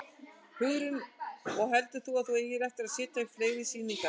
Hugrún: Og heldur þú að þú eigir eftir að setja upp fleiri sýningar?